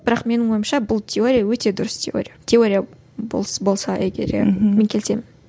бірақ менің ойымша бұл теория өте дұрыс теория теория болса егер мен келісемін